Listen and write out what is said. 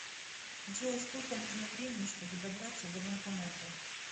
джой сколько нужно времени чтобы добраться до банкомата